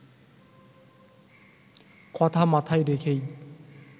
কথা মাথায় রেখেই